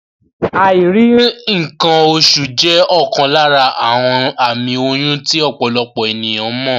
Àìrí ǹǹkan oṣù jẹ́ ọ̀kan lára àwọn àmì oyún tí ọ̀pọ̀lọpọ̀ ènìyán mọ̀